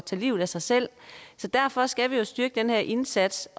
tage livet at sig selv så derfor skal vi jo styrke den her indsats